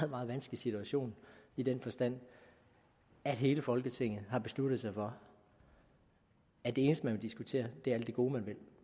meget vanskelig situation i den forstand at hele folketinget har besluttet sig for at det eneste man vil diskutere er alt det gode man vil